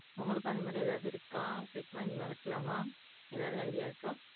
உங்களுக்கும் அந்த மாதிரி எதும் இருக்கா பெட் வாங்கி வளக்கலாமா ஏதாவது ஐடியா இருக்கா